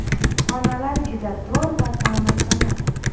Xonalar juda tor va ta’mirtalab.